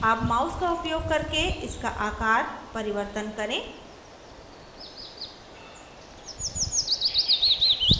अब mouse का उपयोग करके इसका आकार परिवर्तन करें